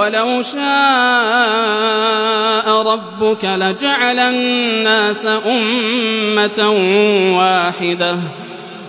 وَلَوْ شَاءَ رَبُّكَ لَجَعَلَ النَّاسَ أُمَّةً وَاحِدَةً ۖ